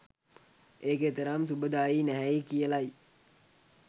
ඒක එතරම් සුබදායී නැහැයි කියලයි